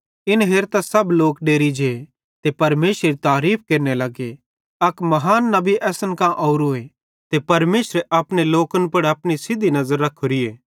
इन हेरतां सब लोक डेरि जे ते परमेशरेरी तारीफ़ केरने लगे अक बड्डो नबी असन मां ओरोए ते परमेशरे अपने लोकन पुड़ अपनी सिधी नज़र रखोरीए